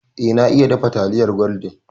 Eh na iya dafa taliyar gwaldin